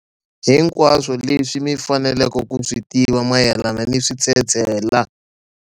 Hinkwaswo leswi mi faneleke ku swi tiva mayelana ni switshetshela.